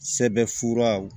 Sɛbɛnfuraw